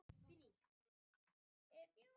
Hvort tilvik hefur hlotið sér nafn.